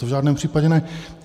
To v žádném případě ne.